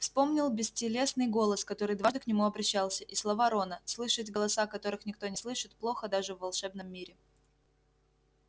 вспомнил бестелесный голос который дважды к нему обращался и слова рона слышать голоса которых никто не слышит плохо даже в волшебном мире